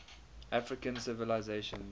african civilizations